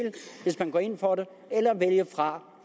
hvis man går ind for det og vælge fra